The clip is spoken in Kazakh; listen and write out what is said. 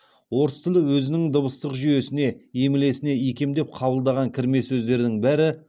орыс тілі өзінің дыбыстық жүйесіне емлесіне икемдеп қабылдаған кірме сөздердің бәрі